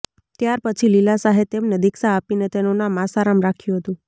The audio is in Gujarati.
ત્યારપછી લીલા શાહે તેમને દીક્ષા આપીને તેનું નામ આસારામ રાખ્યું હતું